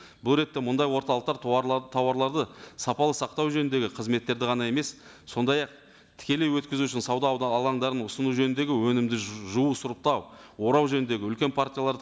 бұл ретте мұндай орталықтар тауарларды сапалы сақтау жөніндегі қызметтерді ғана емес сондай ақ тікелей өткізу үшін сауда алаңдарын ұсыну жөніндегі өнімді жуу сұрыптау орау жөніндегі үлкен партияларды